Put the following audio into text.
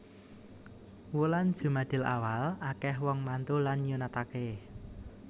Wulan jumadilawal akeh wong mantu lan nyunatake